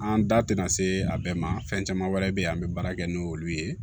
An da tɛna se a bɛɛ ma fɛn caman wɛrɛ be yen an be baara kɛ n'olu ye